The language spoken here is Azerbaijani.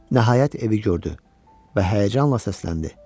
Nəhayət evi gördü və həyəcanla səsləndi.